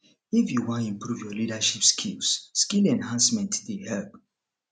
if you wan improve your leadership skills skill enhancement dey help